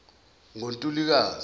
ngontulukazi